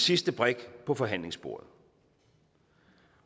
sidste brik på forhandlingsbordet